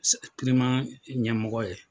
ɲɛmɔgɔ ye.